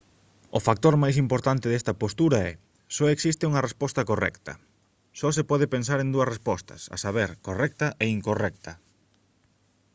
o factor máis importante desta postura é só existe unha resposta correcta só se pode pensar en dúas respostas a saber correcta e incorrecta